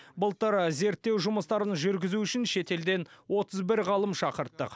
былтыр зерттеу жұмыстарын жүргізу үшін шетелден отыз бір ғалым шақырттық